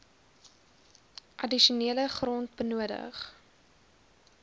addisionele grond benodig